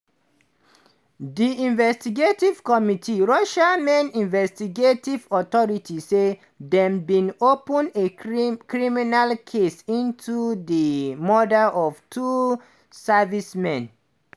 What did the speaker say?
di investigative committee russia main investigative authority say dem bin "open a crimi criminal case into di murder of two servicemen".